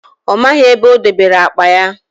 Ọ maghị ebe o dobere akpa ya